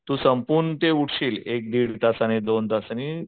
तू संपूर्ण ते उठशील एक दीड तासाने दोन तासाने